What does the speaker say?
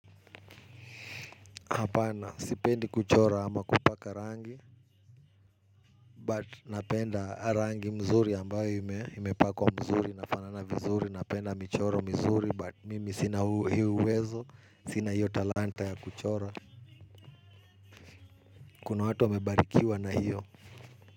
Hapana, sipendi kuchora ama kupaka rangi, but napenda rangi mzuri ambayo imepakwa mzuri, inafanana vizuri, napenda michoro mizuri, but mimi sina uwezo, sina hiyo talanta ya kuchora. Kuna watu wamebarikiwa na hiyo.